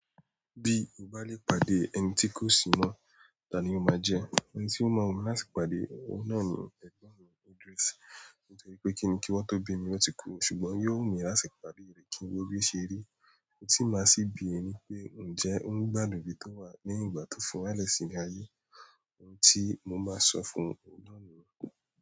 Bí o bá lè pàdé ẹni tí kò sì mọ̀, ta ni o máa jẹ́? Ẹni tí ó mọ̀ wumi láti pàdé, ohun náà ni ẹ̀gbọ́n mi Audrice. Nítorí pé kíni kí wọ́n tó bí mi ló ti kù, ṣùgbọ́n yóò mìíràn sì pàdé rẹ kí ó rí ó ṣe rí. Òun ti máa sì bere ni pé ǹjẹ́ ó ń gbádùn ibi tó wà ní ìgbà tó fi wálẹ̀ sílẹ̀ ayé, òun tí mo máa sọ fún òun náà niyen.